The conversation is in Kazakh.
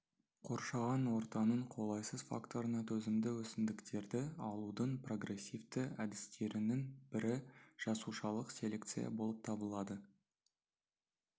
қоршаған ортаның қолайсыз факторына төзімді өсімдіктерді алудың прогрессивті әдістерінің бірі жасушалық селекция болып табылады